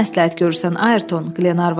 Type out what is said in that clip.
Sən nə məsləhət görürsən, Ayrton?